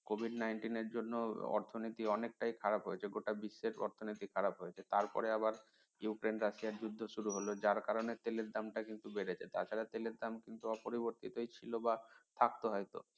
COVID -nineteen এর জন্য অর্থনীতির অনেকটাই খারাপ হয়েছে গোটা বিশ্বের অর্থনীতির অবস্থা খারাপ হয়েছে তারপরে আবার ইউক্রেন রাশিয়া যুদ্ধ শুরু হল যার কারনে তেলের দামটা কিন্তু বেড়েছে তাছাড়া তেলের দাম কিন্তু অপরিবর্তিতই ছিল বা থাকত হয়তো